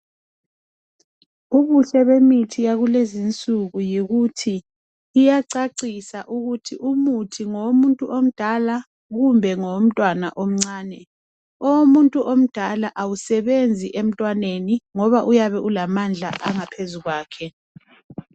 Umuhle bemithi yakulezi insuku yikuthi iyacacisa ukuthi umuthi ngowomuntu omdala kumbe ngowomntwana omncane, owomuntu omdala awusebenzi emntwaneni ngoba uyabe ulamandla angaphezukwakhe.